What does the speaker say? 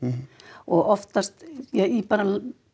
og oftast ja í bara